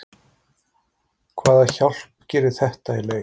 Hvaða hjálp gerir þetta í leik?